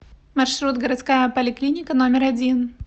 маршрут городская поликлиника номер один